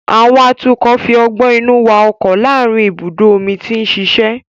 Àwọn atukọ̀ fi ọgbọ́n inú wa ọkọ̀ láàárín ibùdó omi tí ń ṣiṣẹ́